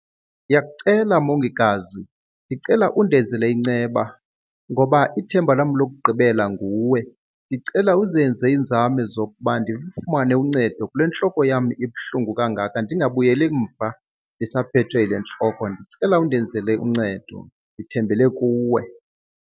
Ndiyakucela mongikazi, ndicela undenzele inceba ngoba ithemba lam lokugqibela nguwe. Ndicela uzenze iinzame zokuba ndilufumane uncedo kule ntloko yam ibuhlungu kangaka, ndingabuyeli emva ndisaphethwe yile ntloko. Ndicela undenzele uncedo, ndithembele kuwe.